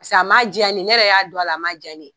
Paseke a ma jɛya ne ye, ne yɛrɛ y'a dɔn na, a ma jɛya ne ye.